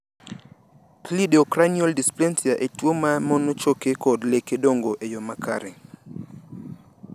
Cleidocranial dysplasia en tuon ma mono choke kod leke dongo eyo makare.